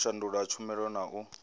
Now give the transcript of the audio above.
u shandula tshumela na u